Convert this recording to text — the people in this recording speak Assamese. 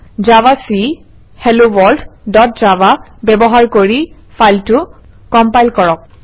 জাভাক হেলোৱৰ্ল্ড ডট জাভা ব্যৱহাৰ কৰি ফাইলটো কম্পাইল কৰক